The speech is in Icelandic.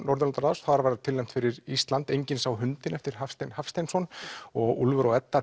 Norðurlandaráðs þar var tilnefnt fyrir Ísland enginn sá hundinn eftir Hafstein Hafsteinsson og Úlfur og Edda